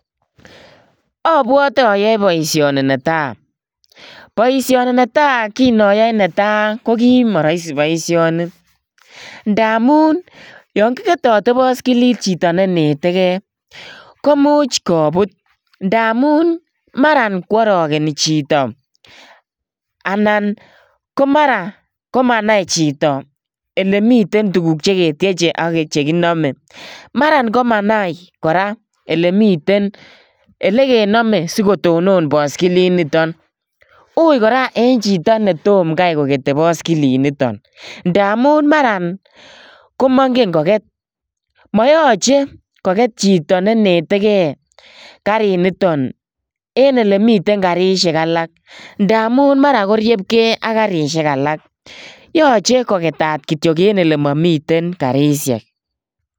Abwete ayoe boisini neta. Boisioni neta, kinoyoe neta, ko kimoroisi boisioni. Ndamun yon kiketoti baskilit chito ne ineteke komuch kobut ndamun marakworogeni chito anan ko mara komanai chito elemiten tuguk che ketieche ak chekinome. Mara komanai kora olemiten elekenome sikotonon baskilit niton. Ui kora eng chito netom kai kokete baskilinito, ndamun mara komongen koket. Moyoche koget chito ne netege kariniton en elemiten karisiek alak. Yoche koketat kityo en olemami karisiek.